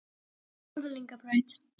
Norðlingabraut